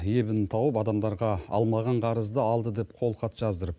ебін тауып адамдарға алмаған қарызды алды деп қолхат жаздырып